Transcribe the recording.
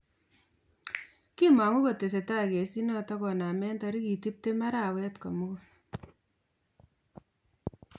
kimangu kotestai gesiinaton konamen tarigiit tiptem araweet mulgul